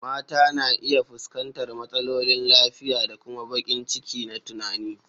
Mata na iya fuskantar matsalolin lafiya da kuma baƙin ciki na tunani.